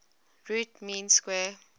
root mean square